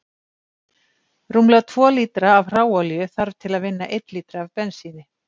Rúmlega tvo lítra af hráolíu þarf til að vinna einn lítra af bensíni.